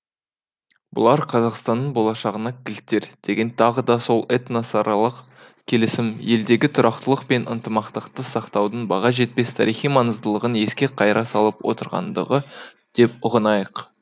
бұлар қазақстанның болашағына кілттер дегені тағы да сол этносаралық келісім елдегі тұрақтылық пен ынтымақты сақтаудың баға жетпес тарихи маңызыдылығын еске қайра салып отырғандығы деп ұғынайық